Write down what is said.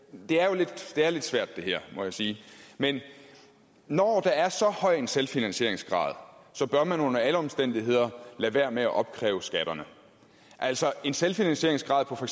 det her er lidt svært må jeg sige men når der er så høj en selvfinansieringsgrad bør man under alle omstændigheder lade være med at opkræve skatterne altså en selvfinansieringsgrad på for